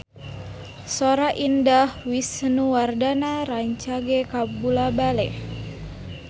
Sora Indah Wisnuwardana rancage kabula-bale